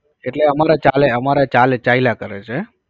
એટલે અમારે ચાલે અમારે ચાલે ચાલ્યા કરે છે